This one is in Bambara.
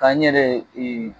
Ka n yɛrɛ ee